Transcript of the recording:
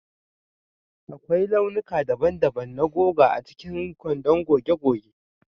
Akwai launuka daban-daban na goga a cikin kwandon goge goge